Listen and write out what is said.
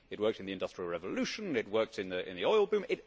It worked in the Industrial Revolution, it worked in the oil boom.